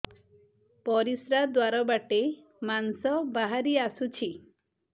ପରିଶ୍ରା ଦ୍ୱାର ବାଟେ ମାଂସ ବାହାରି ଆସୁଛି